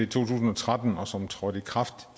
tusind og tretten og som trådte i kraft